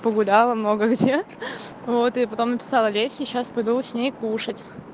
погуляла много где вот и потом написала лесе и сейчас пойду с ней кушать